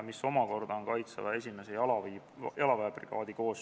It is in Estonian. Kohaloleku kontroll Kohalolijaks registreerus 88 Riigikogu liiget, puudub 13.